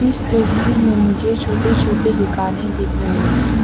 इस तस्वीर में मुझे छोटे छोटे दुकानें दिख रहे हैं।